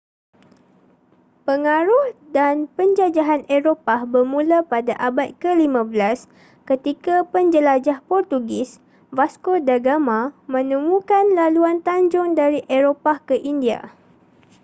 pengaruh dan penjajahan eropah bermula pada abad ke-15 ketika penjelajah portugis vasco da gama menemukan laluan tanjung dari eropah ke india